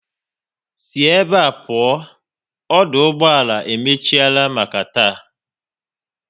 Si ebe a pụọ, ọdụ ụgbọala e emechiela maka taa